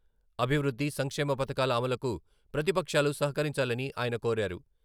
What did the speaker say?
అభివృద్ధి, సంక్షేమ పథకాల అమలుకు ప్రతిపక్షాలు సహకరించాలని ఆయన కోరారు.